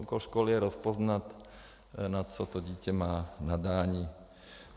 Úkol školy je rozpoznat, na co to dítě má nadání.